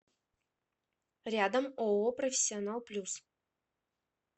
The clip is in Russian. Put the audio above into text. рядом ооо профессионал плюс